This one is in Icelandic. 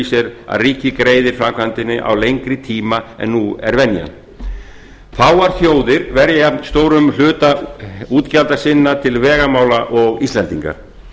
sér að ríkið greiðir framkvæmdinni á lengri tíma en nú er venjan fáar þjóðir verja stórum hluta útgjalda sinna til vegamála og íslendingar